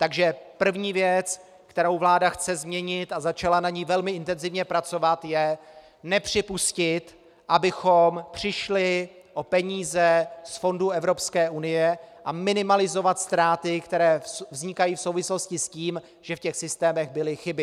Takže první věc, kterou vláda chce změnit, a začala na ní velmi intenzivně pracovat, je nepřipustit, abychom přišli o peníze z fondů Evropské unie, a minimalizovat ztráty, které vznikají v souvislosti s tím, že v těch systémech byly chyby.